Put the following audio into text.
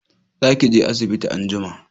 Za ki je asibiti anjima!